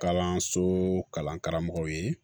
Kalanso kalan karamɔgɔw ye